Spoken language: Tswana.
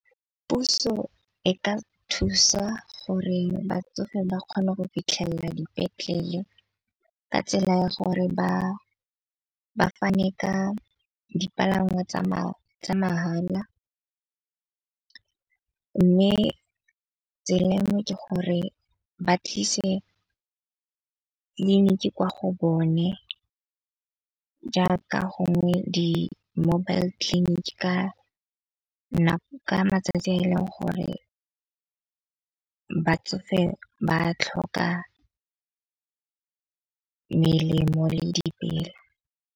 Puso e ka thusa gore batsofe ba kgone go fitlhelela dipetlele ka tsela ya gore ba fane ka dipalangwa tsa mahala. Mme tsela engwe ke gore ba tlise tleliniki kwa go bone jaaka gongwe di-mobile-tleliniki ka nako ka matsatsi a e leng gore batsofe ba tlhoka melemo le dipela.